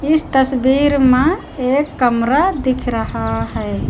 इस तस्वीर मा एक कमरा दिख रहा है।